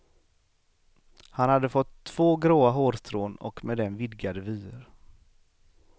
Han hade fått två gråa hårstrån och med dem vidgade vyer.